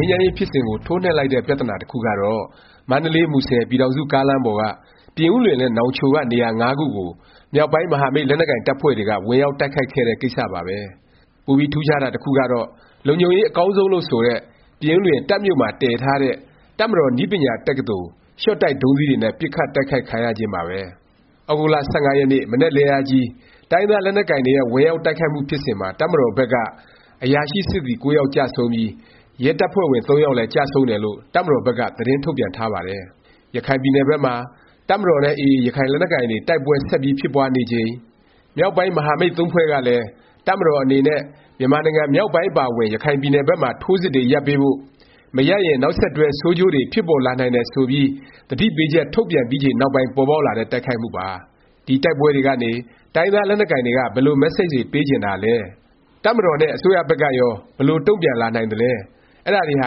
မ်းရေး ဖြစ်စဉ်ကို ထိုးနှက်လိုက်တဲ့ ပြသနာ တစ်ခုကတော့ မန္တလေး- မူဆယ် ပြည်ထောင်စု ကားလမ်းပေါ်က ပြင်ဦးလွင်နဲ့ နောင်ချို က နေရာ ခုကို မြောက်ပိုင်း မဟာမိတ် လက်နက်ကိုင် တပ်ဖွဲ့တွေက ဝင်ရောက် တိုက်ခိုက်ခဲ့တဲ့ ကိစ္စပါပဲ။ ပိုပြီး ထူးခြားတာ တစ်ခုကတော့ လုံခြုံရေး အကောင်းဆုံးလို့ ဆိုတဲ့ ပြင်ဦးလွင် တပ်မြို့မှာ တည်ထားတဲ့ တပ်မတော် နည်းပညာ တက္ကသိုလ် ရှော့ခ်တိုက် ဒုံးသီးတွေနဲ့ ပစ်ခတ်တိုက်ခိုက်ခံရခြင်းပါပဲ။ သြဂုတ်လ ၁၅ ရက်နေ့ မနက်လင်းအားကြီး တိုင်းရင်းသား လက်နက်ကိုင်တွေရဲ့ ဝင်ရောက် တိုက်ခိုက်မှု ဖြစ်စဉ်မှာ တပ်မတော်ဘက်က အရာရှိ စစ်သည် ၉ ယောက်ကျဆုံးပြီး ရဲတပ်ဖွဲ့ဝင် ၃ ယောက်လည်း ကျဆုံးတယ်လို့ တပ်မတော်ဘက်က သတင်းထုတ်ပြန်ထားပါတယ်။ ရခိုင်ပြည်နယ်ဘက်မှာ တပ်မတော်နဲ့ AA ရခိုင်လက်နက်ကိုင်တွေ တိုက်ပွဲ ဆက်ပြီး ဖြစ်ပွားနေချိန်၊ မြောက်ပိုင်း မဟာမိတ် ဖွဲ့ကလည်း တပ်မတော် အနေနဲ့ မြန်မာနိုင်ငံ မြောက်ပိုင်း အပါအဝင် ရခိုင်ပြည်နယ်ဘက်မှာ ထိုးစစ်တွေ ရပ်ပေးဖို့၊ မရပ်ရင် နောက်ဆက်တွဲ ဆိုးကျိုးတွေ ဖြစ်ပေါ်လာနိုင်တယ် ဆိုပြီး သတိပေးချက် ထုတ်ပြန်ပြီးချိန်နောက်ပိုင်း ပေါ်ပေါက်လာတဲ့ တိုက်ခိုက်မှုပါ။ ဒီတိုက်ပွဲတွေကနေ တိုင်းရင်းသား လက်နက်ကိုင်တွေက ဘယ်လို မက်ဆေ့ချ်တွေ ပေးချင်တာလဲ၊ တပ်မတော်နဲ့ အစိုးရဘက်ကရော ဘယ်လို တုန့်ပြန်လာနိုင်သလဲ၊ အဲဒါတွေဟာ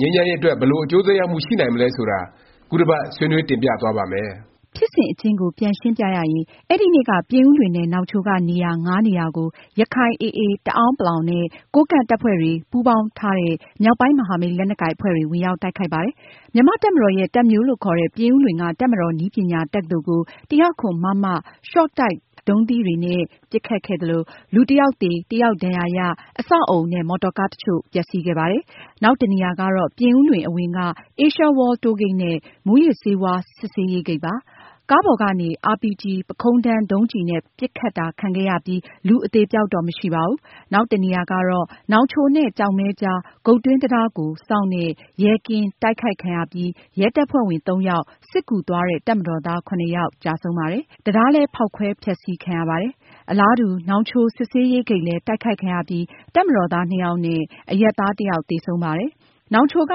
ငြိမ်းချမ်းရေး အတွက် ဘယ်လို အကျိုးသက်ရောက်မှု ရှိနိုင်မလဲ ဆိုတာ ခုတစ်ပတ် ဆွေးနွေး တင်ပြသွားပါ့မယ်။ ဖြစ်စဉ်အကျဉ်းကို ပြန်ရှင်းပြရရင် အဲဒီနေ့က ပြင်ဦးလွင်နဲ့ နောင်ချိုက နေရာ ခုကို ရခိုင် AA, တအဲာန်းပလောင် နဲ့ ကိုးကန့် တပ်ဖွဲ့တွေ ပူးပေါင်းထားတဲ့ မြောက်ပိုင်း မဟာမိတ် လက်နက်ကိုင် အဖွဲ့တွေ ဝင်ရောက် တိုက်ခိုက်ပါတယ်။ မြန်မာ့တပ်မတော်ရဲ့ တပ်မြို့လို့ ခေါ်တဲ့ ပြင်ဦးလွင်က တပ်မတော် နည်းပညာ တက္ကသိုလ် ၁၀၇ မမ၊ ရှော့ခ်တိုက် ဒုံးသီးတွေနဲ့ ပစ်ခတ်ခံရပြီး လူတစ်ယောက်သေ၊ တစ်ယောက် ဒါဏ်ရာရ၊ အဆောက်အဦနဲ့ မော်တော်ကား တစ်ချို့ ပျက်စီးပါတယ်။ နောက်တစ်နေရာကတော့ ပြင်ဦးလွင် အဝင်က အေးရှားဝေါလ် တိုးဂိတ်နဲ့ မူးယစ်ဆေးဝါး စစ်ဆေးရေးဂိတ်ပါ။ ကားပေါ်ကနေ အာရ်ပီဂျီ ပုခုံးထမ်း ဒုံးကျည်နဲ့ ပစ်ခတ်တာ ခံခဲ့ရပြီး လူအသေအပျောက်တော့ မရှိပါဘူး။ နောက်တစ်နေရာကတော့ နောင်ချိုနဲ့ ကျောက်မဲကြား၊ ဂုတ်တွင်း တံတားကို စောင့်တဲ့ ရဲကင်း တိုက်ခိုက်ခံရပြီး ရဲတပ်ဖွဲ့ဝင် ယောက်၊ စစ်ကူသွားတဲ့ တပ်မတော်သား ယောက် ကျဆုံးပါတယ်။ တံတားလည်း ဖေါက်ခွဲဖျက်ဆီး ခံရပါတယ်။ အလားတူ နောင်ချိုစစ်ဆေးရေး ဂိတ်လည်း တိုက်ခိုက်ခံရပြီး တပ်မတော်သား ယောက်နဲ့ အရပ်သား တစ်ယောက် သေဆုံးပါတယ်။ နောင်ချိုက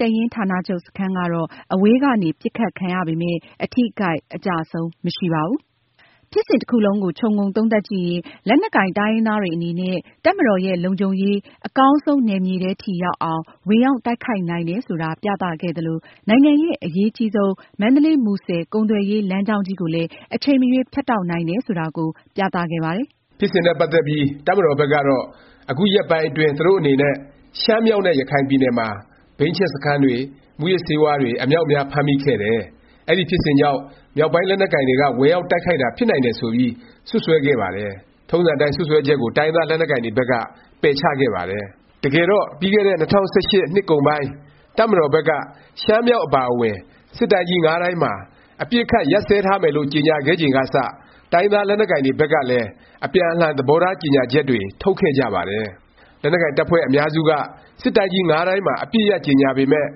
တပ်ရင်းဌာနချုပ် စခန်းကတော့ အဝေးကနေ ပစ်ခတ်ခံရပေမယ့် အထိအခိုက် အကျအဆုံး မရှိပါဘူး။ ဖြစ်စဉ်တစ်ခုလုံးကို ခြုံငုံသုံးသပ်ကြည့်ရင် လက်နက်ကိုင် တိုင်းရင်းသားတွေ အနေနဲ့ တပ်မတာ်ရဲ့ လုံခြုံရေး အကောင်းဆုံး နယ်မြေထဲထိ ရောက်အောင် ဝင်ရောက်တိုက်ခိုက်နိုင်တယ် ဆိုတာ ပြသခဲ့သလို၊ နိုင်ငံရဲ့ အရေးအကြီးဆုံး မန္တလေး- မူဆယ် ကုန်သွယ်ရေး လမ်းကြောင်းကြီးကိုလည်း အချိန်မရွေး ဖြတ်တောက်နိုင်တယ် ဆိုတာကို ပြသခဲ့ပါတယ်။ ဖြစ်စဉ်နဲ့ ပတ်သက်ပြီး တပ်မတော်ဘက်ကတော့ အခုရက်ပိုင်းအတွင်း သူတို့အနေနဲ့ ရှမ်းမြောက်နဲ့ ရခိုင်ပြည်နယ်မှာ ဘိန်းချက်စခန်းတွေ၊ မူးယစ်ဆေးဝါးတွေ အမြောက်အများ ဖမ်းမိခဲ့တယ်၊ အဲဒီ ဖြစ်စဉ်ကြောင့် မြောက်ပိုင်း လက်နက်ကိုင်တွေက ဝင်ရောက်တိုက်ခိုက်တာ ဖြစ်နိုင်တယ် ဆိုပြီး စွတ်စွဲခဲ့ပါတယ်။ ထုံးစံအတိုင်း စွတ်စွဲချက်ကို တိုင်းရင်းသား လက်နက်ကိုင်တွေဘက်က ပယ်ချခဲ့ပါတယ်။ တကယ်တော့ ပြီးခဲ့တဲ့ ၂၀၁၈ နှစ်ကုန်ပိုင်း တပ်မတော်ဘက်က ရှမ်းမြောက် အပါအဝင် စစ်တိုင်းကြီး တိုင်းမှာ အပစ်အခတ် ရပ်စဲထားမယ်လို့ ကြေငြာခဲ့ချိန်ကစ တိုင်းရင်းသား လက်နက်ကိုင်တွေ ဘက်ကလည်း အပြန်အလှန် သဘောထား ကြေငြာချက်တွေ ထုတ်ခဲ့ကြပါတယ်။ လက်နက်ကိုင် တပ်ဖွဲ့ အများစုက စစ်တိုင်းကြီး တိုင်းမှာ အပစ်ရပ် ကြေငြာပေမယ့်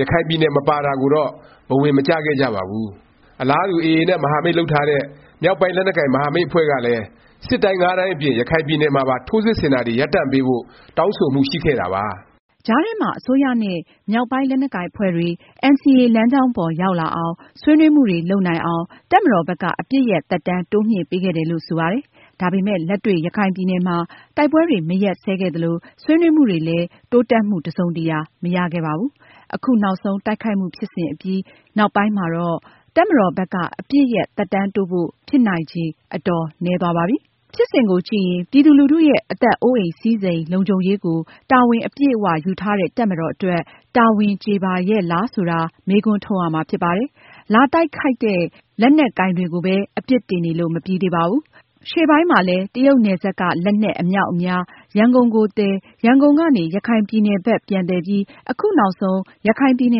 ရခိုင်ပြည်နယ် မပါတာကိုတော့ ဘဝင် မကျခဲ့ကြပါဘူး။ အလားတူ AA နဲ့ မဟာမိတ်လုပ်ထားတဲ့ မြောက်ပိုင်း လက်နက်ကိုင် မဟာမိတ် အဖွဲ့ကလည်း စစ်တိုင်း တိုင်းအပြင် ရခိုင်ပြည်နယ်မှာပါ ထိုးစစ်ဆင်တာတွေ ရပ်တန့်ပေးဖို့ တောင်းဆိုမှု ရှိခဲ့တာပါ။ ကြားထဲမှာ အစိုးရနဲ့ မြောက်ပိုင်း လက်နက်ကိုင် အဖွဲ့တွေ NCA လမ်းကြောင်းပေါ် ရောက်လာအောင်၊ ဆွေးနွေးမှုတွေ လုပ်နိုင်အောင် တပ်မတော်ဘက်က အပစ်ရပ် သက်တမ်း တိုးမြှင့်ပေးခဲ့တယ်လို့ ဆိုပါတယ်။ ဒါပေမယ့် လက်တွေ့ ရခိုင်ပြည်နယ်မှာ တိုက်ပွဲတွေ မရပ်စဲခဲ့သလို၊ ဆွေးနွေးမှုလည်း တိုးတက်မှု တစ်စုံတရာ မရခဲ့ပါဘူး။ အခုနောက်ဆုံး တိုက်ခိုက်မှု ဖြစ်စဉ်အပြီး နောက်ပိုင်းမှာတော့ တပ်မတော်ဘက်က အပစ်ရပ် သက်တမ်းတိုးဖို့ ဖြစ်နိုင်ချေ အတော် နည်းသွားပါပြီ။ ဖြစ်စဉ်ကိုကြည့်ရင် ပြည်သူလူထုရဲ့ အသက်အိုးအိမ် စည်းစိမ် လုံခြုံရေးကို တာဝန် အပြည့်အ၀ ယူထားတဲ့ တပ်မတော်အတွက် တာဝန်ကျေပါရဲ့လား ဆိုတာ မေးခွန်းထုတ်ရမှာ ဖြစ်ပါတယ်။ လာတိုက်ခိုက်တဲ့ လက်နက်ကိုင်တွေကိုပဲ အပြစ်တင်နေလို့ မပြီးပါဘူး။ ရှေ့ပိုင်းမှာလည်း တရုတ်နယ်စပ်က လက်နက်အမြောက်အများ ရန်ကုန်ကိုသယ်၊ ရန်ကုန်ကနေ ရခိုင်ပြည်နယ်ဘက် ပြန်သယ်ပြီး အခုနောက်ဆုံး ရခိုင်ပြည်န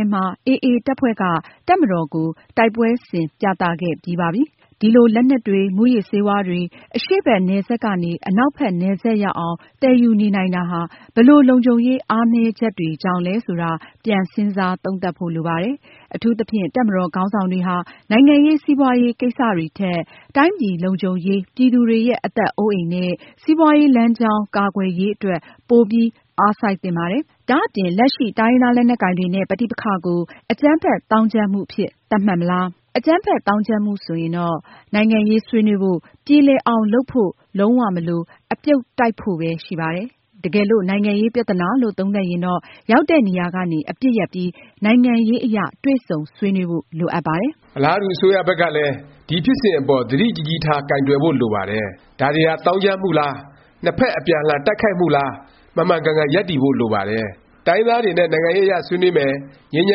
ယ်မှာ AA တပ်ဖွဲ့က တပ်မတော်ကို တိုက်ပွဲဆင်ပြသခဲ့ပြီးပါပြီ။ ဒီလို လက်နက်တွေ၊ မူးယစ်ဆေးဝါးတွေ အရှေ့ဘက် နယ်စပ်ကနေ အနောက်ဘက် နယ်စပ်ရောက်အောင် သယ်ယူနေနိုင်တာဟာ ဘယ်လို လုံခြုံရေး အားနည်းချက်တွေကြောင့်လဲ ဆိုတာ ပြန်စဉ်းစား သုံးသပ်ဖို့ လိုပါတယ်။ အထူးသဖြင့် တပ်မတော် ခေါင်းဆောင်တွေဟာ နိုင်ငံရေး၊ စီးပွားရေး ကိစ္စတွေထက် တိုင်းပြည် လုံခြုံရေး၊ ပြည်သူတွေရဲ့ အသက်အိုးအိမ်နဲ့ စီးပွားရေးလမ်းကြောင်း ကာကွယ်ရေး အတွက် ပိုပြီး အားစိုက်သင့်ပါတယ်။ ဒါ့အပြင် လက်ရှိ တိုင်းရင်းသား လက်နက်ကိုင်တွေနဲ့ ပဋိပက္ခကို အကြမ်းဖက် သောင်းကျန်းမှုအဖြစ် သတ်မှတ်မလား၊ နိုင်ငံရေးပြသနာလား ပြတ်ပြတ်သားသား ဆုံးဖြတ်ဖို့ လိုပါတယ်။ အကြမ်းဖက် သောင်းကျန်းမှု ဆိုရင်တော့ နိုင်ငံရေး ဆွေးနွေးဖို့၊ ပြေလည်အောင် လုပ်ဖို့ လုံး၀ မလို၊ အပြုတ်တိုက်ဖို့ပဲ ရှိပါတယ်။ တကယ်လို့ နိုင်ငံရေးပြသနာလို့ သုံးသပ်ရင်တော့ ရောက်တဲ့နေရာကနေ အပစ်ရပ်ပြီး နိုင်ငံရေးအရ တွေ့ဆုံဆွေးနွေးဖို့ လိုအပ်ပါတယ်။ အလားတူ အစိုးရဘက်ကလည်း ဒီဖြစ်စဉ်အပေါ် သတိကြီးကြီးထား ကိုင်တွယ်ဖို့ လိုပါတယ်။ ဒါတွေဟာ သောင်းကျန်းမှုလား၊ နှစ်ဖက် အပြန်အလှန် တိုက်ခိုက်မှုလား မှန်မှန်ကန်ကန် ရပ်တည်ဖို့ လိုပါတယ်။ တိုင်းရင်းသားတွေနဲ့ နိုင်ငံရေးအရ ဆွေးနွေးမယ်၊ ငြိမ်းချ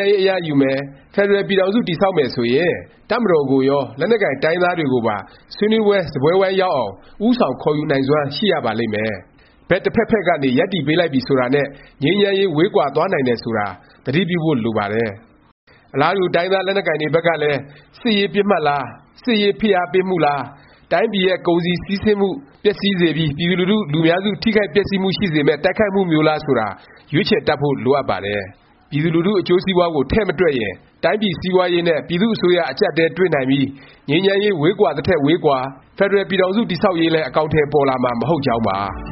မ်းရေး အရယူမယ်၊ ဖက်ဒရယ် ပြည်ထောင်စု တည်ဆောက်မယ် ဆိုရင် တပ်မတော်ကိုရော၊ လက်နက်ကိုင် တိုင်းရင်းသားတွေကိုပါ ဆွေးနွေးပွဲ စားပွဲဝိုင်းရောက်အောင် ဦးဆောင် ခေါ်ယူနိုင်စွမ်း ရှိရပါလိမ့်မယ်။ ဘက် တစ်ဖက်ဖက်ကနေ ရပ်တည်ပေးလိုက်ပြီ ဆိုတာနဲ့ ငြိမ်းချမ်းရေး ဝေးကွာသွားနိုင်တယ်ဆိုတာ သတိပြုဖို့ လိုအပ်ပါတယ်။ အလားတူ တိုင်းရင်းသား လက်နက်ကိုင်တွေဘက်ကလည်း စစ်ရေးပစ်မှတ်လား၊ စစ်ရေးဖိအားပေးမှုလား၊ တိုင်းပြည်ရဲ့ ကုန်စည်ကူးသန်းမှု ပျက်စီးစေပြီး ပြည်သူလူထု လူများစု ထိခိုက်ပျက်စီးမှု ရှိစေမယ့် တိုက်ခိုက်မှုမျိုးလား ဆိုတာ ရွေးချယ် တတ်ဖို့ လိုအပ်ပါတယ်။ ပြည်သူလူထု အကျိုးစီးပွားကို ထည့်မတွက်ရင် တိုင်းပြည် စီးပွားရေးနဲ့ ပြည်သူ့အစိုးရ အကြပ်အတည်းတွေ့နိုင်ပြီး ငြိမ်းချမ်းရေး ဝေးကွာသထက် ဝေးကွာ၊ ဖက်ဒရယ်ပြည်ထောင်စု တည်ဆောက်ရေးလည်း အကောင်အထည် ပေါ်လာမှာ မဟုတ်ကြောင်းပါ